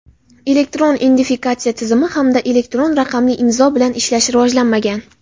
Elektron identifikatsiya tizimi hamda elektron raqamli imzo bilan ishlash rivojlanmagan.